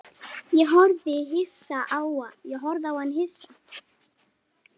Ég horfði á hann hissa.